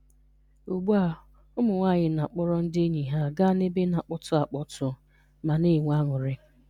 Ugbua, ụmụnwanyị na-akpọrọ ndị enyi ha ga n'ebe na-akpọtụ akpọtụ, ma na-enwe anụrị.